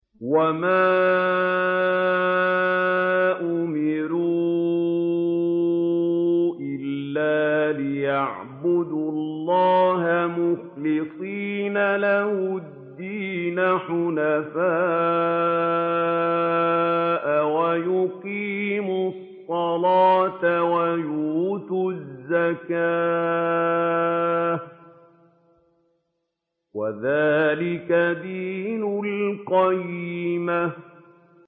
وَمَا أُمِرُوا إِلَّا لِيَعْبُدُوا اللَّهَ مُخْلِصِينَ لَهُ الدِّينَ حُنَفَاءَ وَيُقِيمُوا الصَّلَاةَ وَيُؤْتُوا الزَّكَاةَ ۚ وَذَٰلِكَ دِينُ الْقَيِّمَةِ